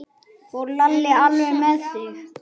Fór Lalli alveg með þig?